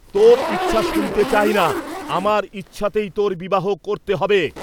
তোর ইচ্ছা শুনতে চাই না, আমার ইচ্ছাতেই তোর বিবাহ করতে হবে।